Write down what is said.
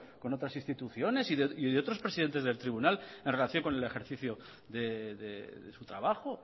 con otras instituciones y de otros presidentes del tribunal en relación con el ejercicio de su trabajo